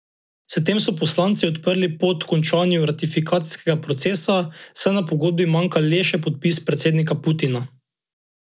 S tem so poslanci odprli pot končanju ratifikacijskega procesa, saj na pogodbi manjka le še podpis predsednika Putina.